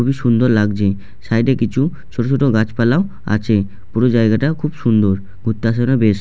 খুব সুন্দর লাগছে [ সাইড -এ কিছু ছোট ছোট গাছপালা ও আছে পুরো জায়গাটা খুব সুন্দর ঘুরতে আসার জন্য বেস্ট ।